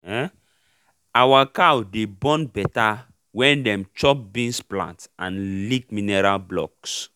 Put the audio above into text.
um our cow dey born better when dem chop beans plant and lick mineral blocks.